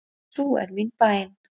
Sú er mín bæn.